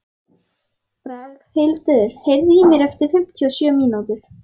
Braghildur, heyrðu í mér eftir fimmtíu og sjö mínútur.